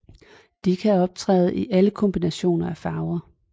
De kan optræde i alle kombinationer af farver